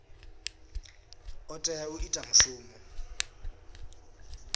o tea u ita mushumo